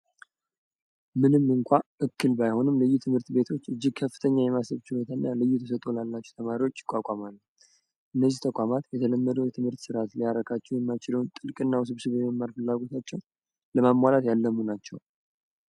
ምንም እንኳ እክል ባይሆንም ልዩ ትምህርት ቤቶች እጅግ ከፍተኛ የማሰብችነትኛ ልዩ ተሰቶ ላላችሁ ተማሪዎች ይቋቋማሉ እነዚህ ተቋማት የተለመደ የትምህርት ሥርዓት ሊያረካቸው የማችለውን ጥልቅ እና ውስብስብ የመማርፈላጎታቸው ለማሟላት ያለሙ ናቸው